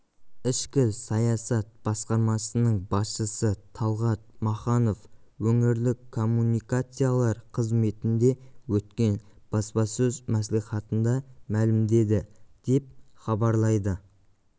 ішкі саясат басқармасының басшысы талғат маханов өңірлік коммуникациялар қызметінде өткен баспасөз мәслихатында мәлімдеді деп хабарлайды